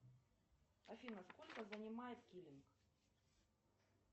афина сколько занимает килинг